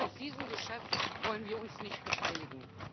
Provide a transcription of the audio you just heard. An diesem Geschäft wollen wir uns nicht beteiligen.